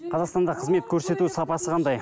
қазақстанда қызмет көрсету сапасы қандай